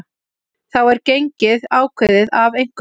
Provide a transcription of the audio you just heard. þá er gengið ákveðið af einhverjum